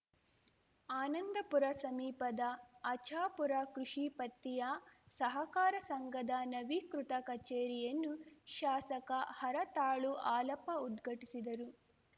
ಆನಂದಪುರ ಸಮೀಪದ ಆಚಾಪುರ ಕೃಷಿ ಪತ್ತಿಯ ಸಹಕಾರ ಸಂಘದ ನವೀಕೃತ ಕಚೇರಿಯನ್ನು ಶಾಸಕ ಹರತಾಳು ಹಾಲಪ್ಪ ಉದ್ಘಟಿಸಿದರು